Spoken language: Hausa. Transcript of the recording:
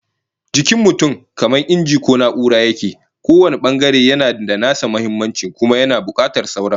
Jikin mutum kamar inji ko na'ura yake, kowane bangare yana da nasa muhimmancin kuma yana bukatar sauran